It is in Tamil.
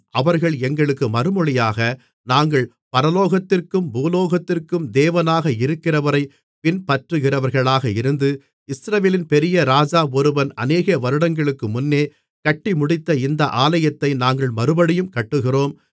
அவர்கள் எங்களுக்கு மறுமொழியாக நாங்கள் பரலோகத்திற்கும் பூலோகத்திற்கும் தேவனாக இருக்கிறவரைப் பின்பற்றுகிறவர்களாக இருந்து இஸ்ரவேலின் பெரிய ராஜா ஒருவன் அநேக வருடங்களுக்குமுன்னே கட்டிமுடித்த இந்த ஆலயத்தை நாங்கள் மறுபடியும் கட்டுகிறோம்